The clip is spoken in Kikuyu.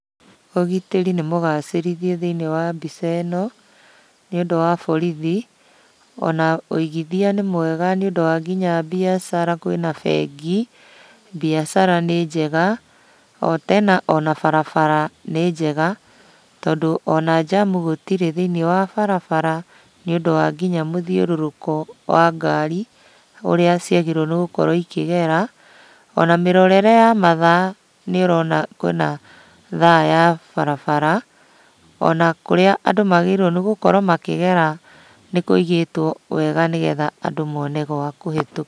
Ũgitĩri nĩmũgacĩrithie thĩiniĩ wa mbica ĩno, nĩũndũ wa borithi. Ona ũigithia nĩ mwega nĩũndũ wa nginya mbiacara kwĩna bengi, mbiacara nĩ njega. O tena ona barbara nĩ njega, tondũ ona jamu gũtirĩ thĩiniĩ wa barabara, nĩũndũ wa nginya mũthiũrũrũko wa ngari, ũrĩa ciagĩrĩirwo nĩgũkorwo ikĩgera. Ona mĩrorere ya mathaa, nĩũrona kwĩna thaa ya barabara, ona kũrĩa andũ magĩrĩirwo nĩgũkorwo makĩgera nĩkũigĩtwo wega nĩgetha andũ mone gwa kũhĩtũ